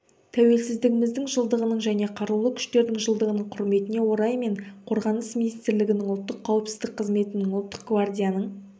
тәуелсіздігіміздің жылдығының және қарулы күштердің жылдығының құрметіне орай мен қорғаныс министрлігінің ұлттық қауіпсіздік қызметінің ұлттық гвардияның